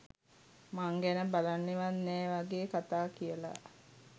මං ගැන බලන්නෙවත් නෑ වගේ කතා කියලා.